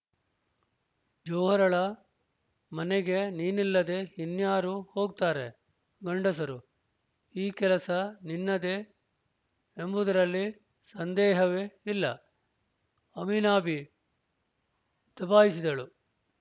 ಜೋಹರಳ ಮನೆಗೆ ನೀನಲ್ಲದೆ ಇನ್ಯಾರು ಹೋಗುತ್ತಾರೆ ಗಂಡಸರು ಈ ಕೆಲಸ ನಿನ್ನದೇ ಎಂಬುದರಲ್ಲಿ ಸಂದೇಹವೇ ಇಲ್ಲ ಆಮಿನಾಬಿ ದಬಾಯಿಸಿದಳು